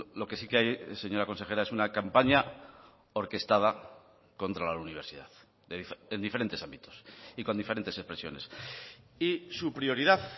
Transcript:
lo que sí que hay señora consejera es una campaña orquestada contra la universidad en diferentes ámbitos y con diferentes expresiones y su prioridad